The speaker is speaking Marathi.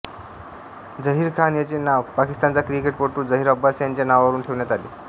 झहीर खान याचे नाव पाकिस्तानचा क्रिकेटपटू झहीर अब्बास यांच्या नावावरून ठेवण्यात आले